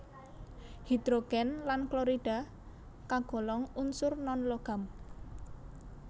Hidrogen lan klorida kagolong unsur non logam